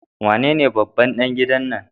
Wanene babban ɗan gidan nan?